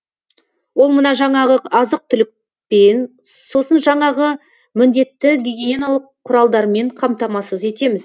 ол мына жаңағы азық түлікпен сосын жаңағы міндетті гигиеналық құралдармен қамтамасыз етеміз